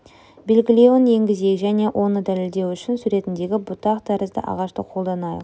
белгілеуін енгізейік және оны дәлелдеу үшін суретіндегі бұтақ тәрізді ағашты қолданайық